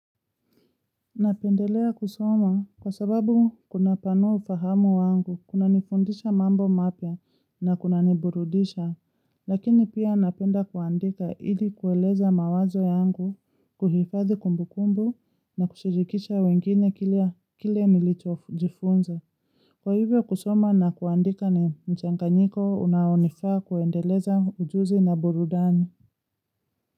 Napendelea kusoma kwa sababu kuna panua ufahamu wangu kuna nifundisha mambo mapya na kuna niburudisha, lakini pia napenda kuandika ili kueleza mawazo yangu kuhifadhi kumbu kumbu na kushirikisha wengine kile nilicho jifunza. Kwa hivyo kusoma na kuandika ni mchanganyiko unaonifaa kuendeleza ujuzi na burudani.